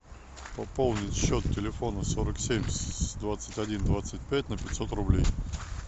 пополнить счет телефона сорок семь двадцать один двадцать пять на пятьсот рублей